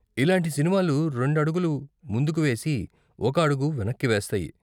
ఇలాంటి సినిమాలు రెండు అడుగులు ముందుకు వేసి, ఒక అడుగు వెనక్కి వేస్తాయి.